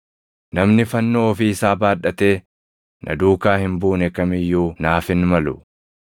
Namni fannoo ofii isaa baadhatee na duukaa hin buune kam iyyuu naaf hin malu.